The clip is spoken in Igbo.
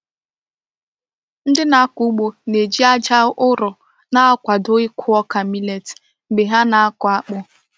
Ndị na-akọ ugbo na-eji aja ụrọ na-akwado ịkụ ọka millet mgbe ha na-akụ akpụ.